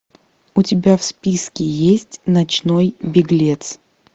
у тебя в списке есть ночной беглец